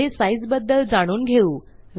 पुढे साइझ बद्दल जाणून घेऊ